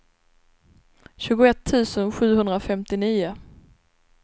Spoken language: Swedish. tjugoett tusen sjuhundrafemtionio